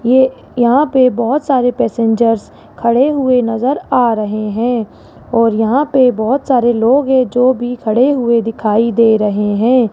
ये यहां पर बहोत सारे पैसेंजर्स खड़े हुए नजर आ रहे हैं और यहां पे बहोत सारे लोग हैं जो भी खड़े हुए दिखाई दे रहे हैं।